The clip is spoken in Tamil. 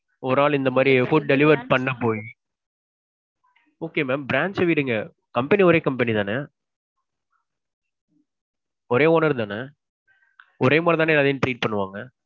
ஒரு ஆள் இந்த மாதிரி food delivery பண்ண போயி. okay mam branch விடுங்க. company ஒரே company தானே? ஒரே owner தானே? ஒரே மாதிரி தான எல்லாரையும் treat பன்னுவாங்க?